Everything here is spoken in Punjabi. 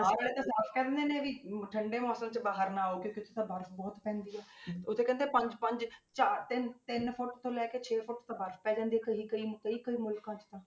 ਬਾਹਰ ਵਾਲੇ ਤਾਂ ਆਪ ਕਹਿੰਦੇ ਨੇ ਵੀ ਅਮ ਠੰਢੇ ਮੌਸਮ 'ਚ ਬਾਹਰ ਨਾ ਆਓ ਕਿਉਂਕਿ ਉੱਥੇ ਤਾਂ ਬਰਫ਼ ਬਹੁਤ ਪੈਂਦੀ ਹੈ ਉਹ ਕਹਿੰਦੇ ਆ ਪੰਜ ਪੰਜ ਚਾਰ ਤਿੰਨ ਤਿੰਨ ਫੁੱਟ ਤੋਂ ਲੈ ਕੇ ਛੇ ਫੁੱਟ ਤਾਂ ਬਰਫ਼ ਪੈ ਜਾਂਦੀ ਹੈ ਕਈ ਕਈ ਕਈ ਕਈ ਮੁਲਕਾਂ 'ਚ ਤਾਂ।